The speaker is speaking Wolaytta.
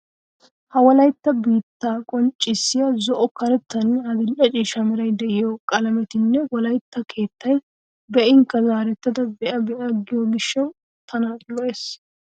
Ha wolaytta biittaa qonccissiya zo"o,karettanne adil"e ciishsha meray de'iyo qalametinne wolaytta keettay be'inkka zaarettada be'a be'a giyo gishshawu tana lo"ees.